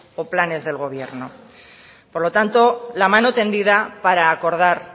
o planes del gobierno por lo tanto la mano tendida para acordar